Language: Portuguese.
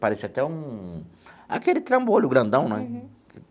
Parece até um... Aquele trambolho grandão, né?